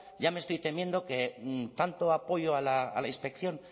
ya me estoy temiendo que tanto apoyo a la inspección